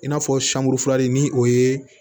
I n'a fɔ sanburifilani ni o ye